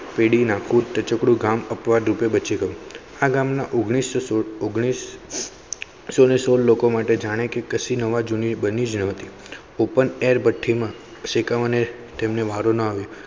પીડી ના કૂટ ટચૂકડું ગામ અપવાદરૂપે બચી ગયું આ ગામ ના ઓગણીસો સુડ ઓગણીસ સોળ લોકો માટે જાણે કે કશીક નવાજૂની બની જતી open air. ભઠી માં શેકાવા ને તેમને વારો ના આવ્યો.